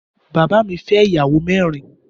Bàbá mi fẹ́ ìyàwó mẹ́rin.